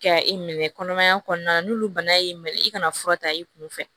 Ka i minɛ kɔnɔmaya kɔnɔna na n'olu bana y'i minɛ i kana fura ta i kun fɛ